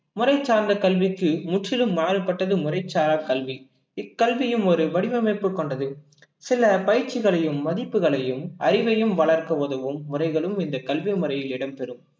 முறைசார்ந்த கல்விக்கு முற்றிலும் மாறுபட்டது முறைச்சாரா கல்வி இக்கல்வியும் ஒரு வடிவமைப்பு கொண்டது சில பயிற்சிகளையும், மதிப்புகளையும், அறிவையும் வளர்க்க உதவும் முறைகளும் இந்த கல்வி முறையில் இடம்பெறும்